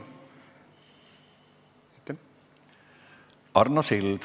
Arno Sild.